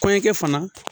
Kɔɲɔkɛ fana